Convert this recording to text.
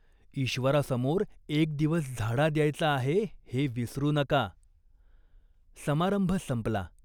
ईश्वरासमोर एक दिवस झाडा द्यायचा आहे हे विसरू नका." समारंभ संपला.